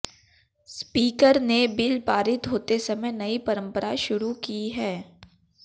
speaker ने bill पारित होते समय नयी परंपरा शुरू की है